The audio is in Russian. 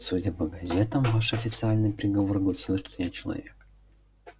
судя по газетам ваш официальный приговор гласил что я человек